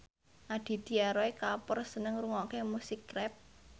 Aditya Roy Kapoor seneng ngrungokne musik rap